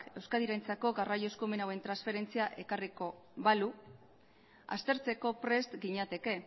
euskadirentzako garraio eskumen hauen transferentzia ekarriko balu aztertzeko prest ginateke